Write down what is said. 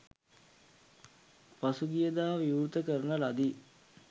පසුගිය දා විවෘත කරන ලදී.